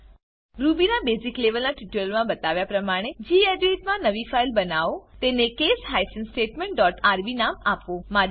Ruby ના basic લેવલના ટ્યુટોરીયલોમા બતાવ્યા પ્રમાણે ગેડિટ મા નવી ફાઈલ બનાઓ તેને case hyphen statement dot R B નામ આપો